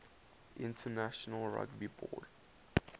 international rugby board